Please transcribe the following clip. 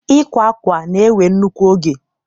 Ịkwa akwa na-ewe nnukwu oge